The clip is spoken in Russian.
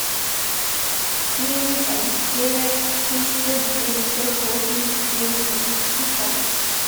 фильмик одиссея тысяча девятьсот восемьдесят девять запусти ка